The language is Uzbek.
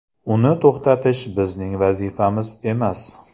Uni to‘xtatish bizning vazifamiz emas.